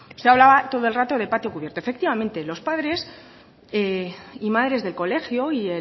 usted hablaba todo el rato de patio cubierto efectivamente los padres y madres del colegio y